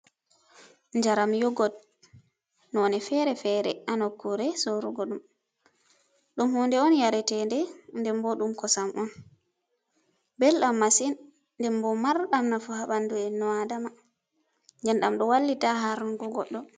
Njaram yogot none feere-feere haa nokkure sorugo ɗum. Ɗum hunde on yareteɗe nden bo ɗum kosam on, bel ɗam masin, nden bo marɗam nafu masin haa bandu e nnu aadama, nden ɗam ɗo wallita haa har nugo goddo.